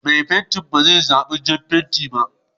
Mai fentin ba zai buƙaci jan fenti ba?